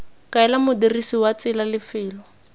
kaela modirisi wa tsela lefelo